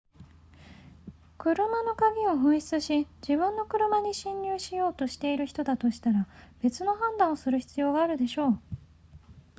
車の鍵を紛失し自分の車に侵入しようとしている人だとしたら別の判断をする必要があるでしょう